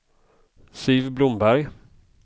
Siv Blomberg